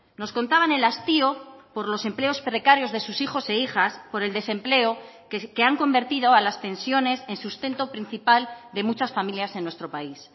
nos contaban el hastío por los empleos precarios de sus hijos e hijas por el desempleo que han convertido a las pensiones en sustento principal de muchas familias en nuestro país